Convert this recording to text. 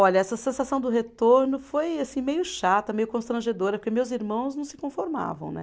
Olha, essa sensação do retorno foi assim meio chata, meio constrangedora, porque meus irmãos não se conformavam, né?